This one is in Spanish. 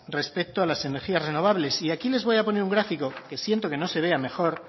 respecto a las energías renovables y aquí les voy a poner un gráfico siento que no se vea mejor